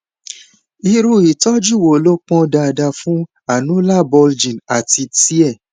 irú ìtọjú wo ló pọn dandan fún annular bulging àti tear